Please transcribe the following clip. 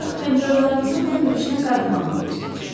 Ancaq həmkarlarımızın Tembridjdən qayıtmağını gözləyəcəm.